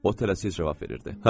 O tələsik cavab verirdi: